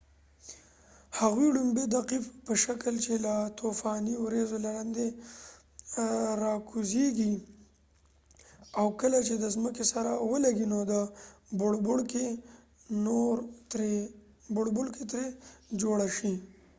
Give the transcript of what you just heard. هغوۍ لومړی د قیف په شکل چې له طوفاني وریځو لاندې راکوزیږي او کله چې د ځمکې سره ولګیږي نو د بوړبوړکۍ ترې جوړه شي